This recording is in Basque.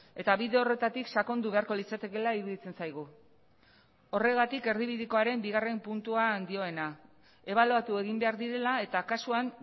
eta bide horretatik sakondu beharko litzatekeela iruditzen zaigu horregatik erdibidekoaren bigarren puntuan dioena ebaluatu egin behar direla eta kasuan